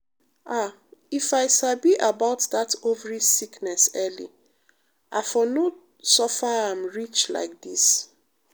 ah if i sabi about that ovary sickness early i for no suffer am reach like this.